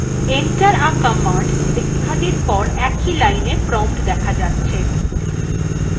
enter the command লেখাটির পর একই line prompt দেখা যাচ্ছে